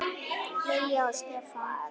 Lilja og Stefán.